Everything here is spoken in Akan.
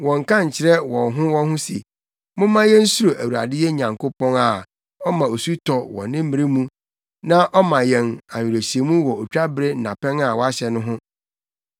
Wɔnnka nkyerɛ wɔn ho wɔn ho se, ‘Momma yensuro Awurade yɛn Nyankopɔn, a ɔma osu tɔ wɔ ne mmere mu, nea ɔma yɛn awerehyɛmu wɔ otwabere nnapɛn a wahyɛ no ho.’